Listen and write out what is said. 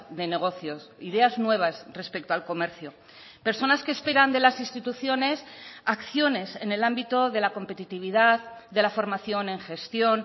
de negocios ideas nuevas respecto al comercio personas que esperan de las instituciones acciones en el ámbito de la competitividad de la formación en gestión